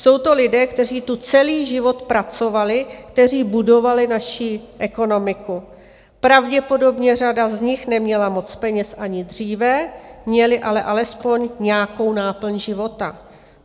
Jsou to lidé, kteří tu celý život pracovali, kteří budovali naši ekonomiku, pravděpodobně řada z nich neměla moc peněz ani dříve, měli ale alespoň nějakou náplň života.